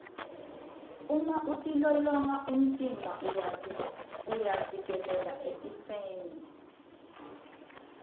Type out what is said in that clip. uma utilolonga umtimba uyavikeleka etifeni